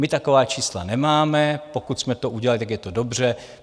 My taková čísla nemáme, pokud jsme to udělali, tak je to dobře.